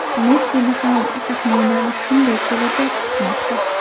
Messini ham, taxminan, shunday kelajak kutmoqda.